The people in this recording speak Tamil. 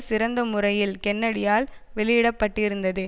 சிறந்த முறையில் கென்னடியால் வெளியிடப்பட்டிருந்தது